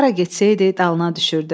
Hara getsəydi, dalına düşürdü.